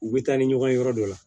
U bɛ taa ni ɲɔgɔn ye yɔrɔ dɔ la